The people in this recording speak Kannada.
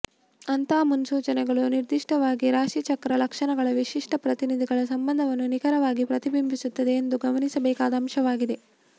ಅಂತಹ ಮುನ್ಸೂಚನೆಗಳು ನಿರ್ದಿಷ್ಟವಾಗಿ ರಾಶಿಚಕ್ರ ಲಕ್ಷಣಗಳ ವಿಶಿಷ್ಟ ಪ್ರತಿನಿಧಿಗಳ ಸಂಬಂಧವನ್ನು ನಿಖರವಾಗಿ ಪ್ರತಿಬಿಂಬಿಸುತ್ತವೆ ಎಂದು ಗಮನಿಸಬೇಕಾದ ಅಂಶವಾಗಿದೆ